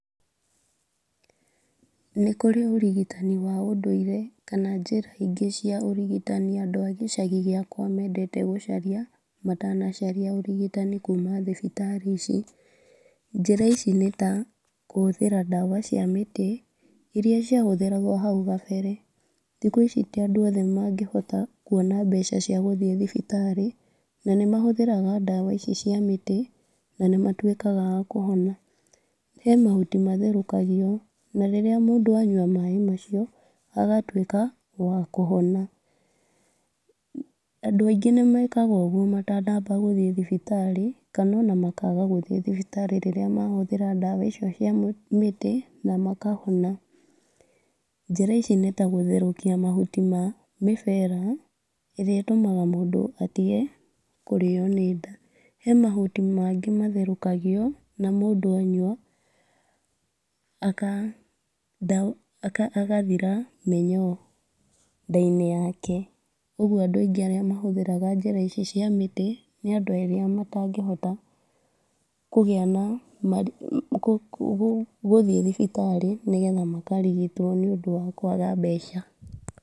Nĩkũrĩ ũrigitani wa ũndũire, kana njĩra ingĩ cia ũrigitani andũ a gĩcagi gĩakwa mendete gũcaria ,matana caria ũrigitani kuma thibitarĩ ici, njĩra ici nĩ ta, kũhũthĩra ndawa cia mĩtĩ, iria ciahũthĩragwo hau gambere, thikũ ici ti andũ othe mangĩhota kũona mbeca cia gũthiĩ thibitarĩ , na nĩ mahũthĩraga ndawa ici cia mĩtĩ, na nĩ matwĩkaga akũhona, he mahuti matherũkagio, rĩrĩa mũndũ anyua maaĩ macio agatwĩka wakũhona, andũ aingĩ nĩmekaga ũgwo matanaamba gũthiĩ thibitarĩ kana ona makaga gũthiĩ thibitarĩ rĩrĩa mahũthĩra ndawa icio cia mĩtĩ ũkahona, njĩra ici nĩtagũtherũkia mahuti ma mĩbera, ĩrĩa ĩtũmaga mũndũ atige kũrĩo nĩ nda , he mahuti mangĩ matherũkagio na mũndũ anyua aka akathira mĩnyoo nda-inĩ yake, ũgwo andũ aingĩ arĩa mahũthĩraga njĩra ici cia mĩtĩ, nĩ andũ arĩa matangĩhota kũgĩa na gũ gũthiĩ thibitarĩ nĩgetha makarigitwo nĩ ũndũ wa kwaga mbeca.